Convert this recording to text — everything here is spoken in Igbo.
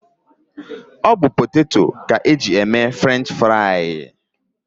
Potato ka eji e mee Frenchifrii